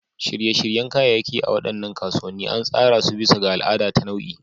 Shirye-shiryen kayayyaki a cikin waɗannan kasuwanni an tsara su bisa ga al'ada ta nau'i.